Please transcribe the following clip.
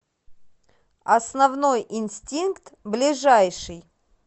основной инстинкт ближайший